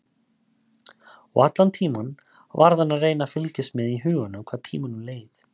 Og allan tímann varð hann að reyna að fylgjast með í huganum hvað tímanum leið.